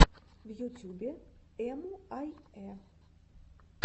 в ютюбе эмуаййэ